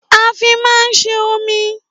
À fi mà ń sé òmí